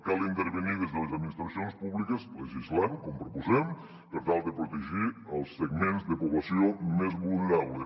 cal intervenir des de les administracions públiques legislant com proposem per tal de protegir els segments de població més vulnerables